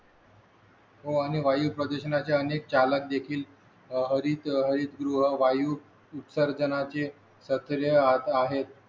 हो आणि वायू प्रदूषणाच्या अनेक चालक देखील हरित हरित द्रव वायू उत्सर्जनाचे आहेत